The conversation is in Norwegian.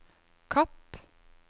Kapp